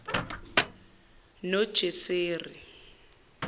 nojeseri